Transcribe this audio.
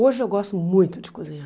Hoje eu gosto muito de cozinhar.